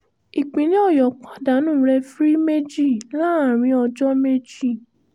ìpínlẹ̀ ọ̀yọ́ pàdánù rèfìrí méjì láàrin ọjọ́ méjì